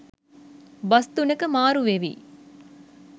bus තුනක මාරු වෙවී